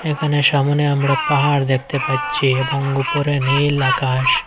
এখানে সামোনে আমরা পাহাড় দেখতে পাচ্ছি এবং উপরে নীল আকাশ।